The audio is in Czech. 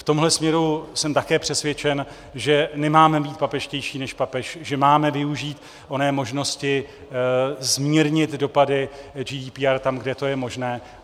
V tomhle směru jsem také přesvědčen, že nemáme být papežštější než papež, že máme využít oné možnosti zmírnit dopady GDPR tam, kde to je možné.